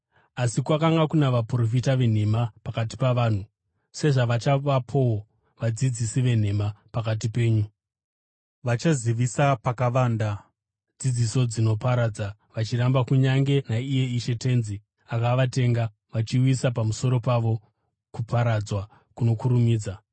Asi kwakanga kuna vaprofita venhema pakati pavanhu, sezvavachavapowo vadzidzisi venhema pakati penyu. Vachazivisa pakavanda dzidziso dzinoparadza, vachiramba kunyange naiye Ishe tenzi akavatenga, vachiuyisa pamusoro pavo kuparadzwa kunokurumidza.